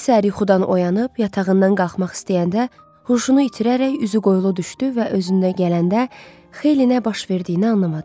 Bir səhər yuxudan oyanıb, yatağından qalxmaq istəyəndə, huşunu itirərək üzü qoylu düşdü və özünə gələndə xeylinə baş verdiyini anlamadı.